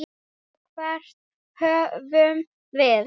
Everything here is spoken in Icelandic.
Og hvert horfum við?